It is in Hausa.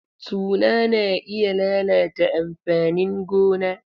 Tuna na iya lalata amfanin gona.